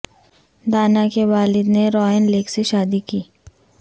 دانا کے والد نے راین لیگ سے شادی کی